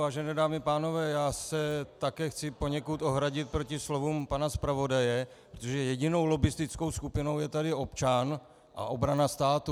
Vážené dámy a pánové, já se také chci poněkud ohradit proti slovům pana zpravodaje, protože jedinou lobbistickou skupinou je tady občan a obrana státu.